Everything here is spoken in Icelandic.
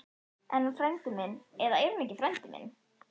Er hann frændi minn eða er hann ekki frændi minn?